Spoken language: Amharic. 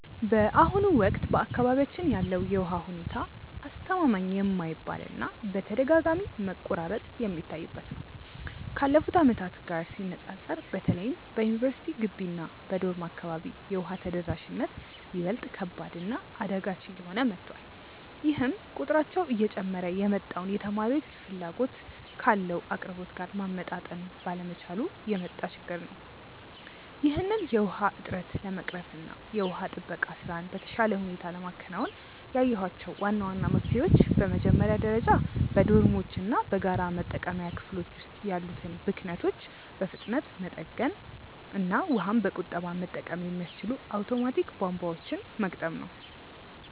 በአሁኑ ወቅት በአካባቢያችን ያለው የውሃ ሁኔታ አስተማማኝ የማይባል እና በተደጋጋሚ መቆራረጥ የሚታይበት ነው። ካለፉት ዓመታት ጋር ሲነፃፀር በተለይም በዩኒቨርሲቲ ግቢ እና በዶርም አካባቢ የውሃ ተደራሽነት ይበልጥ ከባድ እና አዳጋች እየሆነ መጥቷል፤ ይህም ቁጥራቸው እየጨመረ የመጣውን ተማሪዎች ፍላጎት ካለው አቅርቦት ጋር ማመጣጠን ባለመቻሉ የመጣ ችግር ነው። ይህንን የውሃ እጥረት ለመቅረፍ እና የውሃ ጥበቃ ስራን በተሻለ ሁኔታ ለማከናወን ያየኋቸው ዋና ዋና መፍትሄዎች በመጀመሪያ ደረጃ በዶርሞች እና በጋራ መጠቀሚያ ክፍሎች ውስጥ ያሉትን ብክነቶች በፍጥነት መጠገን እና ውሃን በቁጠባ መጠቀም የሚያስችሉ አውቶማቲክ ቧንቧዎችን መግጠም ነው።